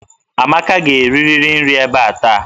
Amaka ga-erirịrị nri ebe a taa!